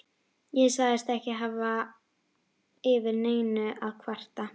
Ég sagðist ekki hafa yfir neinu að kvarta.